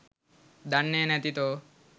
දන්නෙ නැති තෝ